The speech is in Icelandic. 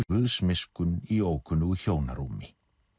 Guðs miskunn í ókunnugu hjónarúmi